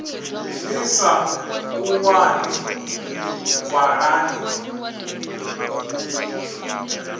ni sa u wani ṅwalani